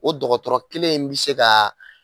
O dɔgɔtɔrɔ kelen in bi se ga